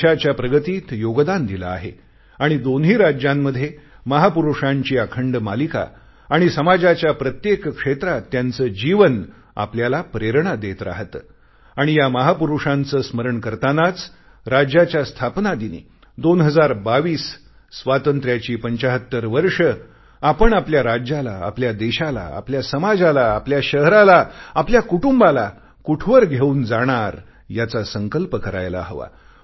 देशाच्या प्रगतीत योगदान दिले आहे आणि दोन्ही राज्यांमध्ये महापुरुषांची अखंड मालिका आणि समाजाच्या प्रत्येक क्षेत्रात त्यांचे जीवन आपल्याला प्रेरणा देत राहते आणि या महापुरुषांचे स्मरण करतानाच राज्याच्या स्थापना दिनी 2022 स्वातंत्र्याची 75 वर्षं आपण आपल्या राज्याला आपल्या देशाला आपल्या समाजाला आपल्या शहराला आपल्या कुटुंबाला कुठवर घेऊन जाणार याचा संकल्प करायला हवा